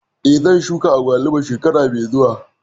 Eh, zan shuka agwaluma shekara mai zuwa